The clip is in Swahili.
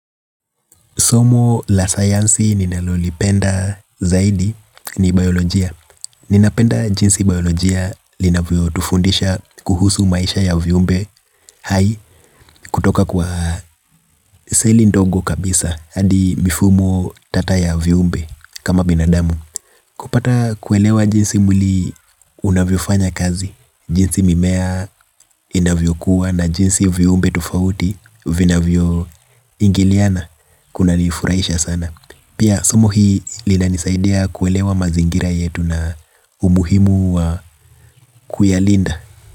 Somo la sayansi ninalolipenda zaidi ni biolojia. Ninapenda jinsi biolojia linavyotufundisha kuhusu maisha ya viumbe hai kutoka kwa seli ndogo kabisa. Hadi mifumo tata ya viumbe kama binadamu. Kupata kuelewa jinsi mwili unavyofanya kazi. Jinsi mimea inavyokuwa na jinsi viumbe tofauti vinavyoingiliana kunanifurahisha sana. Pia somo hii linanisaidia kuelewa mazingira yetu na umuhimu wa kuyalinda.